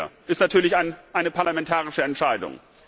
Das ist natürlich eine parlamentarische Entscheidung.